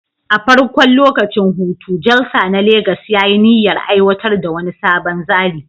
A farkon lokacin hutu, Jalsa na Legas ya yi niyyar aiwatar da wani sabon tsari